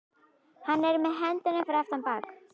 Hann er með hendurnar fyrir aftan bak.